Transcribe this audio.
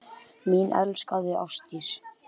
Þær ráða.